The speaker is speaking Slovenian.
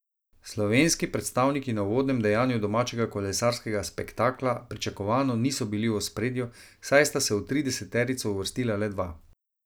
Slovenski predstavniki na uvodnem dejanju domačega kolesarskega spektakla pričakovano niso bili v ospredju, saj sta se v trideseterico uvrstila le dva.